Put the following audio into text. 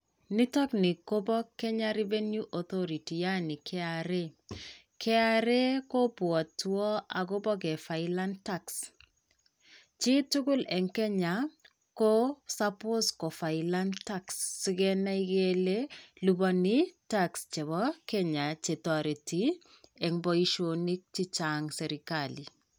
Nitook ni kopoo Kenya Revenue Authority yaani KRA. KRA kobwotwo agobo kefilen tax. Chii tugul eng' Kenya, ko suppose kofilen tax sigenai kele liponi tax chepo Kenya chetoreti eng' boishonik chechang' chepoo serkali.